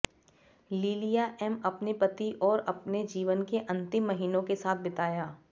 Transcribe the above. लिलिया M अपने पति और अपने जीवन के अंतिम महीनों के साथ बिताया